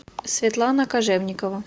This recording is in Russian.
светлана кожевникова